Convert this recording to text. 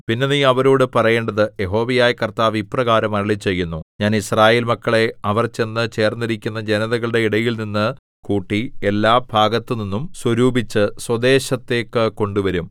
പിന്നെ നീ അവരോടു പറയേണ്ടത് യഹോവയായ കർത്താവ് ഇപ്രകാരം അരുളിച്ചെയ്യുന്നു ഞാൻ യിസ്രായേൽ മക്കളെ അവർ ചെന്നു ചേർന്നിരിക്കുന്ന ജനതകളുടെ ഇടയിൽനിന്ന് കൂട്ടി എല്ലാഭാഗത്തുനിന്നും സ്വരൂപിച്ച് സ്വദേശത്തേക്കു കൊണ്ടുവരും